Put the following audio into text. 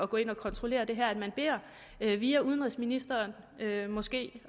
gå ind og kontrollere det her at man via udenrigsministeren måske